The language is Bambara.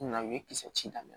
Na u ye kisɛ ci daminɛ